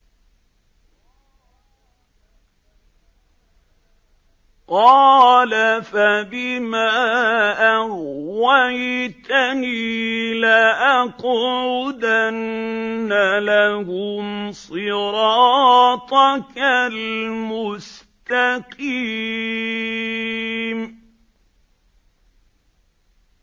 قَالَ فَبِمَا أَغْوَيْتَنِي لَأَقْعُدَنَّ لَهُمْ صِرَاطَكَ الْمُسْتَقِيمَ